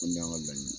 O de y'an ka laɲini